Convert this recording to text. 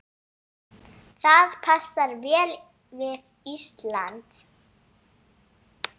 Það passar vel við Ísland.